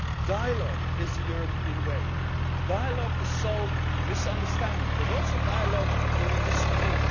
with us. Dialogue is the European way, dialogue to solve misunderstandings, but also dialogue when we